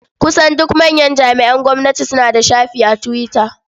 Kusan duk manyan jami'an gwamnati suna da shafi a Twitter.